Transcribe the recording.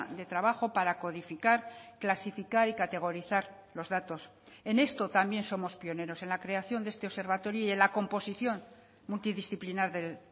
de trabajo para codificar clasificar y categorizar los datos en esto también somos pioneros en la creación de este observatorio y en la composición multidisciplinar del